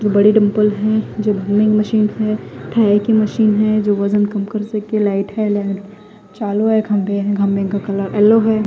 जो बड़े दंपल है जो मशीन है थाई की मशीन है जो वजन कम कर सके लाइट है लाइट चालू है खम्भे है खम्भे का कलर येलो है।